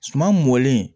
Suma mɔlen